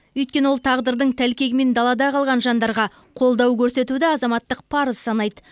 өйткені ол тағдырдың тәлкегімен далада қалған жандарға қолдау көрсетуді азаматтық парызы санайды